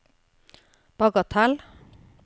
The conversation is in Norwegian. bagatell